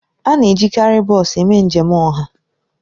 A na-ejikarị bọs eme njem ọha.